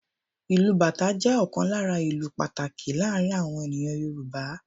Ìlù Bàtá jẹ́ ọ̀kan lára ​​ìlù pàtàkì láàárín awọn ènìyàn Yorùbá.